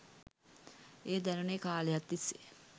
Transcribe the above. එය දැනුණේ කාලයක් තිස්සේ